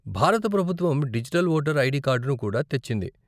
భారత ప్రభుత్వం digital voter ID కార్డును కూడా తెచ్చింది.